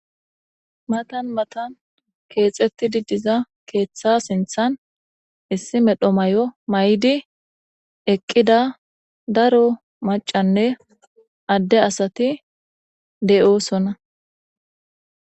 Matan matan keexettidi diza keeththa sinthan issi medho may7o may7di eqqida daro macanne adde asati de7oosona.